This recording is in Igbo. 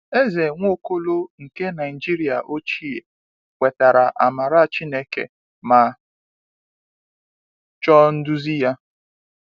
Eze Nwaokolo nke Naijiria ochie kwetara amara Chineke ma chọọ nduzi Ya.